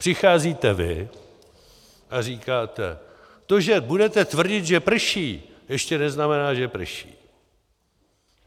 Přicházíte vy a říkáte: To, že budete tvrdit, že prší, ještě neznamená, že prší.